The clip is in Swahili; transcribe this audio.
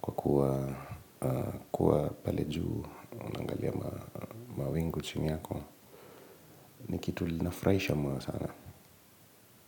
kwa kuwa pale juu unaangalia mawingu chini yako ni kitu linafurahisha moyo sana.